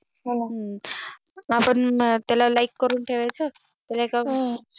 आपण त्याला आ Like करून ठेवायचं त्याला त्याला हम्म